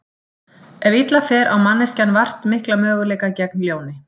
Ef illa fer á manneskjan vart mikla möguleika gegn ljóni.